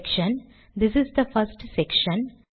section this is the first section